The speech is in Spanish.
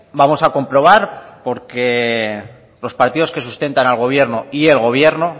vamos a comprobar porque los partidos que sustentan al gobierno y el gobierno